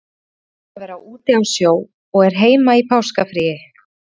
Pabbi er búinn að vera úti á sjó og er heima í páskafríi.